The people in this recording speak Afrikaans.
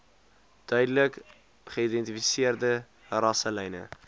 duidelik geïdentifiseerde rasselyne